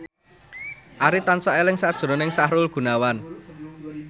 Arif tansah eling sakjroning Sahrul Gunawan